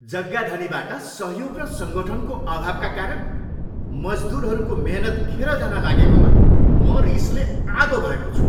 जग्गाधनीबाट सहयोग र सङ्गठनको अभावका कारण मजदुरहरूको मेहनत खेर जान लागेकोमा म रिसले आगो भएको छु।